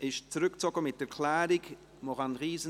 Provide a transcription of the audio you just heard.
Sie wird mit Erklärung zurückgezogen.